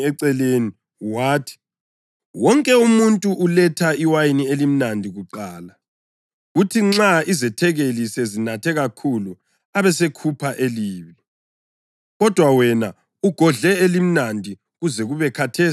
wathi, “Wonke umuntu uletha iwayini elimnandi kuqala, kuthi nxa izethekeli sezinathe kakhulu abesekhupha elibi; kodwa wena ugodle elimnandi kuze kube khathesi.”